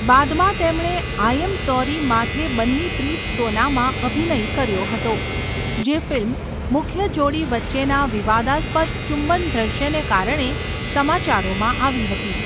બાદમાં તેમણે 'I am sorry માથે બન્ની પ્રીત્સોના'માં અભિનય કર્યો હતો, જે ફિલ્મ મુખ્ય જોડી વચ્ચેના વિવાદાસ્પદ ચુંબન દ્રશ્યને કારણે સમાચારોમાં આવી હતી.